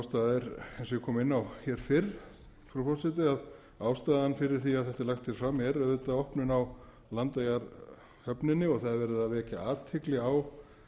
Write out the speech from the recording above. og ég kom inn á hér fyrr frú forseti að ástæðan fyrir því að þetta er lagt hér fram er auðvitað opnun á landeyjahöfninni og það er verið að vekja athygli á